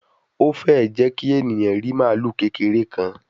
O fee jẹ ki eniyan ri malu kekere kan